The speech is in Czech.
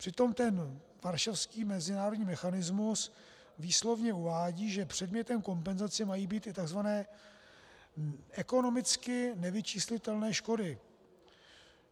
Přitom ten varšavský mezinárodní mechanismus výslovně uvádí, že předmětem kompenzace mají být i tzv. ekonomicky nevyčíslitelné škody.